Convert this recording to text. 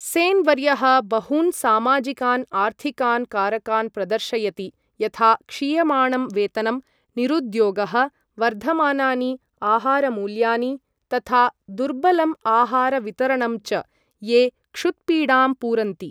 सेन् वर्यः बहून् सामाजिकान् आर्थिकान् कारकान् प्रदर्शयति, यथा क्षीयमाणं वेतनम्, निरुद्योगः, वर्धमानानि आहारमूल्यानि तथा दुर्बलम् आहार वितरणं च, ये क्षुत्पीडाम् पुरन्ति।